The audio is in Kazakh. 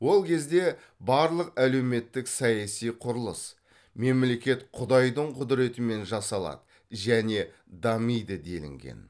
ол кезде барлық әлеуметтік саяси құрылыс мемлекет құдайдың құдіретімен жасалады және дамиды делінген